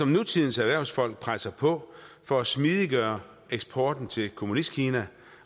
nutidens erhvervsfolk presser på for at smidiggøre eksporten til kommunistkina